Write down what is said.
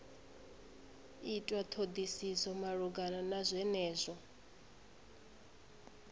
itwa thodisiso malugana na zwenezwo